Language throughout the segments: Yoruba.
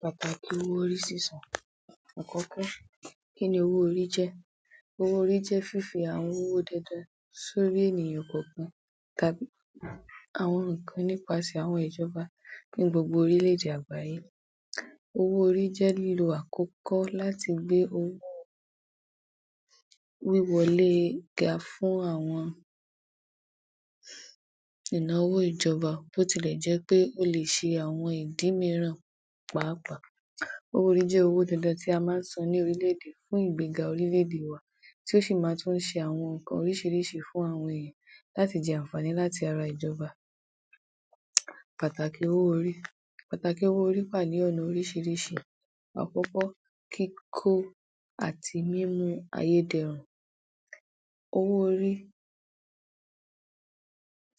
Pàtàkì owó orí sísan. Àkọ́kọ́ kín ni owó orí jẹ́? Owó orí jẹ́ fífi àwọn owó dandan sórí àwọn ènìyàn kọ̀ọ̀kan tàbí àwọn nǹkan nípasẹ̀ ìjọba ní gbogbo orílẹ̀-èdè àgbáyé, owó orí jẹ́ lílo àkọ́kọ́ láti gbé wíwọlé ga fún àwọn ìnáwó ìjọba bí ó tilẹ̀ jẹ́ pé ó le è ṣe àwọn ìdí mìíràn pàápàá, owó orí jẹ́ owó dandan tí a máa ń san ní orílẹ̀-èdè fún ìgbéga orílẹ̀-èdè wa tí ó sì máa ń ṣe oríṣìíríṣìí nǹkan fún àwọn èèyàn láti jẹ àǹfààní láti ara ìjọba. Pàtàkì owó orí. Pàtàkì owó orí wá à ní ọ̀nà oríṣìíríṣìí. Àkọ́kọ́, kíkó àti mímú ayé dẹrùn, owó orí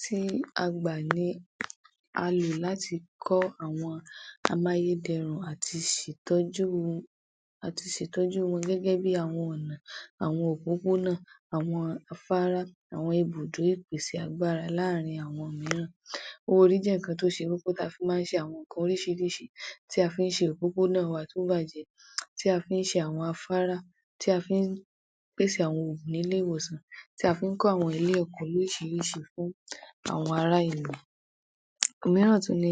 tí a gbà ní a lò láti kọ́ àwọn amáyédẹrùn à ti ṣe ìtọ́jú à ti ṣe ìtọ́jú wọn gẹ́gẹ́ bí àwọn ọ̀nà, àwọn òpópónà, àwọn afárá, àwọn ibùdó ìpèsè agbára láàárín àwọn mìíràn, owó orí jẹ́ nǹkan tó ṣe wí pé a fi máa ń ṣe àwọn nǹkan oríṣìíríṣìí tí a fi ń ṣe òpópónà wa tó bàjẹ́, ta fi ń ṣe àwọn afárá, tí a fi ń pèsè àwọn oògùn nílé ìwòsàn, tí a fi ń kọ́ àwọn ilé–ẹ̀kọ́ lóríṣiríṣi fáwọn ará ìlú. Òmíràn tún ni,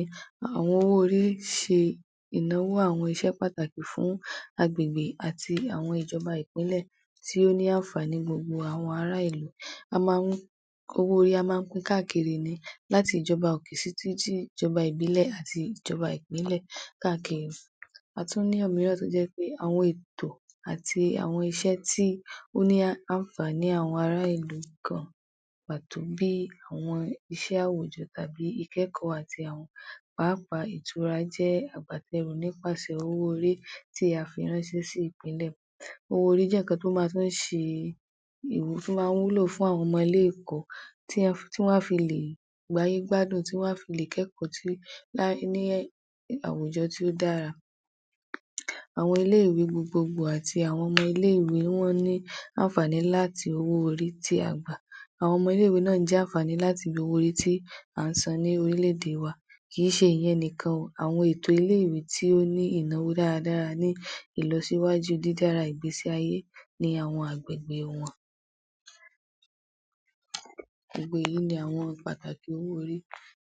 àwọn owó orí fi ìnáwó àwọn iṣẹ́ pàtàkì fún agbègbè àti àwọn ìjọba Ìpínlẹ̀ tí ó ní àǹfààní gbogbo àwọn ará ìlú, a máa ń owó orí,a máa ń pin káàkiri ni láti ìjọba òkè títí di ìjọba ìbílẹ̀ àti ìjọba Ìpínlẹ̀ káàkiri,a tún ní òmíràn tó jẹ́ pé àwọn ètò àti àwọn iṣẹ́ tó ní àǹfààní àwọn ará ìlú gan-an pàtó bí àwọn iṣẹ́ àwùjọ, ìkẹ́kọ̀ọ́ àti àwọn pàápàá ìtura jẹ́ agbátẹrù nípasẹ̀ owó orí tí a fi ránṣẹ́ sí Ìpínlẹ̀. Owó orí jẹ́ nǹkan tó máa tún ṣe, tó máa ń jẹ́ ìwúrí fáwọn ọmọ ilé —ẹ̀kọ́ tán fi lè gbáyé gbádùn tí wọ́n a fi lè kẹ́kọ̀ọ́ tí ní àwùjọ tí ó dára, àwọn ilé —ìwé gbogbogbò àti àwọn ilé - ìwé ni wọ́n ní àǹfààní láti owó orí tí a gbà, àwọn ọmọ ilé - ìwé náà ń jàǹfààní láti lo owó orí tí à ń san ní orílẹ̀ - èdè wa, kì í ṣe ìyẹn nìkan o, àwọn ilé - ìwé tí ó ní ìnáwó dáradára ní ìlọsíwájú dídára ìgbésí ayé ní àwọn agbègbè wọn. Gbogbo èyí ni àwọn pàtàkì owó orí.